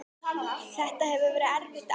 Þetta hefur verið erfitt ár.